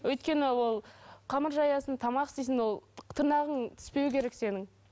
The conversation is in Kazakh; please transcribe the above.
өйткені ол қамыр жаясың тамақ істейсің ол тырнағың түспеу керек сенің